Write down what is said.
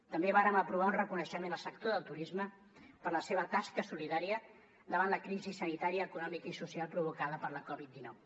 també vàrem aprovar un reconeixement al sector del turisme per la seva tasca solidària davant la crisi sanitària econòmica i social provocada per la covid dinou